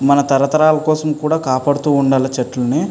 మన తరతరాల కోసం కూడా కాపాడుతూ ఉండాలి చెట్లని.